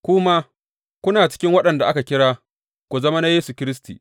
Ku ma kuna cikin waɗanda aka kira ku zama na Yesu Kiristi.